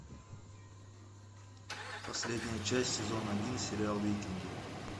последняя часть сезона один сериал викинги